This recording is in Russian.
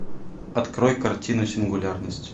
открой картину сингулярность